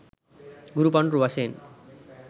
ගුරු පඬුරු වශයෙන්